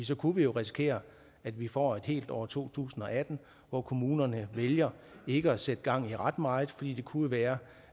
så kunne vi jo risikere at vi får et helt år to tusind og atten hvor kommunerne vælger ikke at sætte gang i ret meget fordi det jo kunne være